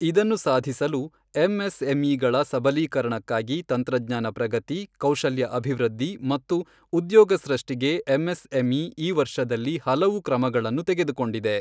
ಇದನ್ನು ಸಾಧಿಸಲು, ಎಂಎಸ್ಎಂಇಗಳ ಸಬಲೀಕರಣಕ್ಕಾಗಿ ತಂತ್ರಜ್ಞಾನ ಪ್ರಗತಿ, ಕೌಶಲ್ಯ ಅಭಿವೃದ್ಧಿ ಮತ್ತು ಉದ್ಯೋಗ ಸೃಷ್ಟಿಗೆ ಎಂಎಸ್ಎಂಇ ಈ ವರ್ಷದಲ್ಲಿ ಹಲವು ಕ್ರಮಗಳನ್ನು ತೆಗೆದುಕೊಂಡಿದೆ.